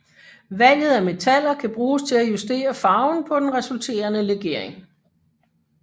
Valget af metaller kan bruges til at justere farven på den resulterende legering